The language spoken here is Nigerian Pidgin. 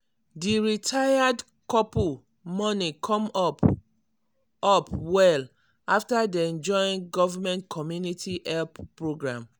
di retired couple money come up up well after dem join government community help program.